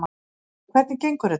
Áslaug: Hvernig gengur þetta?